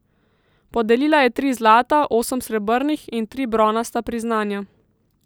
Podelila je tri zlata, osem srebrnih in tri bronasta priznanja.